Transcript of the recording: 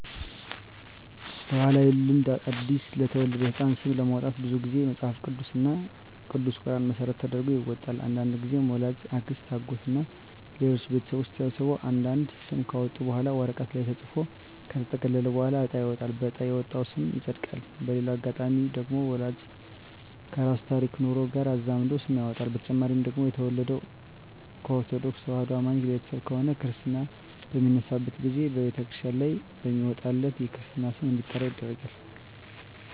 በባህላዊ ልማድ አዲስ ለተወለደ ህጻን ስም ለማውጣት ብዙ ግዜ መጸሀፍ ቅዱስ እና ቅዱስ ቁራንን መሰረት ተደርጎ ይወጣል። አንዳንድግዜም ወላጅ፣ አክስት፣ አጎት እና ሌሎች ቤተሰቦች ተሰብስበው አንድ አንድ ስም ካወጡ በኋላ ወረቀት ላይ ተጽፎ ከተጠቀለለ በኋላ እጣ ይወጣል በእጣ የወጣው ስም ይጸድቃል። በሌላ አጋጣሚ ደግሞ ወላጅ ከራሱ ታሪክና ኑሮ ጋር አዛምዶ ስም ያወጣል። በተጨማሪ ደግሞ የተወለደው ከኦርተዶክ ተዋህዶ አማኝ ቤተሰብ ከሆነ ክርስታ በሚነሳበት ግዜ በተክርስቲያን ላይ በሚወጣለት የክርስትና ስም እንዲጠራ ይደረጋል።